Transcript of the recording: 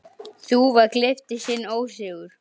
Nei, Kalli minn.